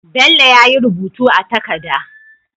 Bello yayi rubutu a takada